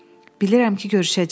Bilirəm ki, görüşəcəyik.